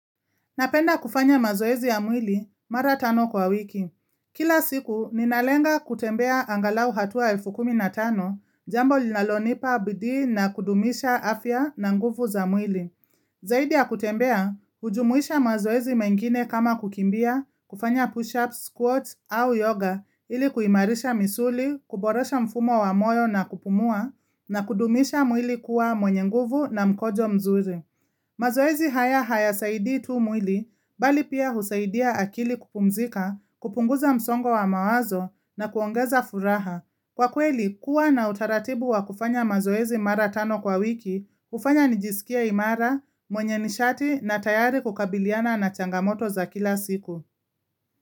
Napenda kufanya mazoezi ya mwili mara tano kwa wiki. Kila siku, ninalenga kutembea angalau hatua elfu kumi na tano, jambo linalonipa bidii na kudumisha afya na nguvu za mwili. Zaidi ya kutembea, hujumuisha mazoezi mengine kama kukimbia, kufanya push-ups, squats au yoga ili kuimarisha misuli, kuboresha mfumo wa moyo na kupumua na kudumisha mwili kuwa mwenye nguvu na mkojo mzuri. Mazoezi haya hayasaidii tu mwili, bali pia husaidia akili kupumzika, kupunguza msongo wa mawazo na kuongeza furaha. Kwa kweli, kuwa na utaratibu wa kufanya mazoezi mara tano kwa wiki, hufanya nijisikie imara, mwenye nishati na tayari kukabiliana na changamoto za kila siku.